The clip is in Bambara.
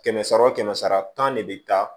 Kɛmɛ sara wo kɛmɛ sara tan ne bɛ taa